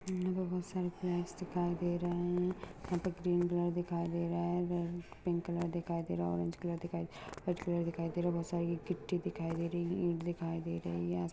यहा बहुत सारे फ्लेगस दिखाई दे रहे है यहा पर ग्रीन कलर दिखाई दे रहा है पिंक कलर दिखाई दे रहा है ओरेंज कलर दिखाई दे रहा है वाईट कलर दिखाई दे रहा है बहुत सारी गिट्टी दिखाई दे रहि है ईट दिखाय दे रही है।